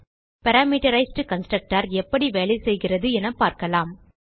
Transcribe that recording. parametrised constructor எப்படி வேலை செய்கிறது என பார்க்கலாம்